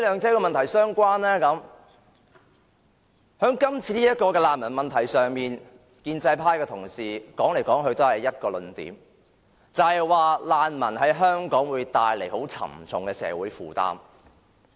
在今次的難民問題上，建制派同事說來說去也只是一個論點，就是指難民會為香港帶來沉重社會負擔。